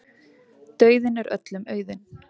Dauðinn er öllum auðinn.